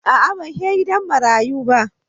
A'a, ban he gidan marayun ba.